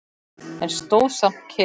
En stóð samt kyrr.